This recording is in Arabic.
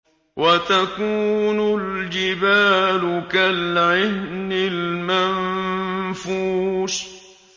وَتَكُونُ الْجِبَالُ كَالْعِهْنِ الْمَنفُوشِ